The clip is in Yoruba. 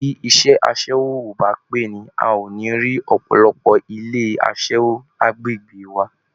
Bí iṣẹ́ aṣẹ́wó ò bà á pé ni, a ò ní rí ọ̀pọ̀lọpọ̀ ilé aṣẹ́wó lágbègbè wa